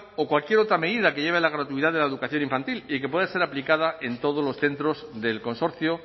o cualquier otra medida que lleve la gratuidad de la educación infantil y que pueda ser aplicada en todos los centros del consorcio